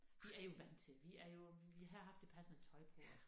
Vi er jo vant til vi er jo vi havde haft det passende tøj på og